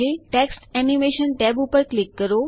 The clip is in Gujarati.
ટેક્સ્ટ એનિમેશન ટેબ ઉપર ક્લિક કરો